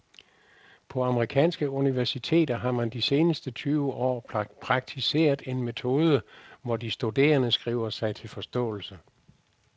På amerikanske universiteter har man de seneste tyve år praktiseret en metode, hvor de studerende skriver sig til forståelse.